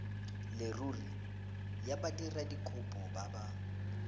leruri ya badiradikopo ba ba